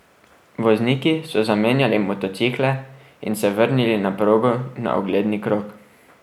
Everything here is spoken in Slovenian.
Vozniki so zamenjali motocikle in se vrnili na progo na ogledni krog.